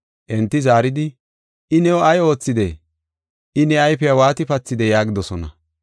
Enti zaaridi, “I new ay oothidee? I ne ayfiya waati pathidee?” yaagidosona.